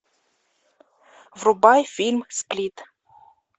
врубай фильм сплит